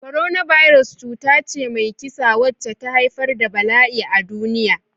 Coronavirus cuta ce mai kisa wacce ta haifar da bala'i a duniya.